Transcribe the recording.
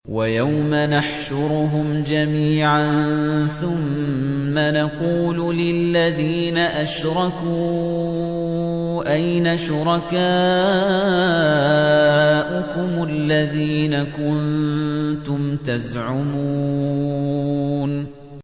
وَيَوْمَ نَحْشُرُهُمْ جَمِيعًا ثُمَّ نَقُولُ لِلَّذِينَ أَشْرَكُوا أَيْنَ شُرَكَاؤُكُمُ الَّذِينَ كُنتُمْ تَزْعُمُونَ